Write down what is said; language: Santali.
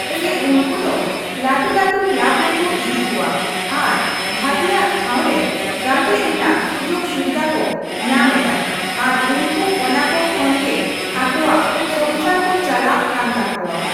ᱥᱮ ᱩᱱᱠᱩ ᱫᱚ ᱞᱟᱹᱴᱩᱼᱞᱟᱹᱴᱩ ᱠᱞᱟᱵ ᱨᱮᱠᱚ ᱤᱫᱤ ᱠᱚᱣᱟ ᱾ ᱟᱨ ᱵᱷᱟᱹᱜᱤᱭᱟᱜ ᱴᱷᱟᱶ ᱨᱮ ᱜᱟᱛᱮᱜ ᱨᱮᱱᱟᱜ ᱥᱩᱡᱳᱜᱽᱼᱥᱩᱵᱤᱫᱟ ᱠᱚ ᱧᱟᱢ ᱮᱫᱟ ᱾ ᱟᱨ ᱩᱱᱠᱩ ᱚᱱᱟ ᱠᱚ ᱠᱷᱚᱱ ᱜᱮ ᱟᱠᱚᱣᱟᱜ ᱥᱚᱝᱥᱟᱨ ᱠᱚ ᱪᱟᱞᱟᱜ ᱠᱟᱱ ᱛᱟᱠᱚᱣᱟ ᱾